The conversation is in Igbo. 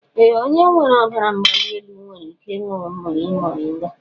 Ee, onye nwere ọrịa ọbara mgbali elu nwere ike ịñụ mmiri moringa.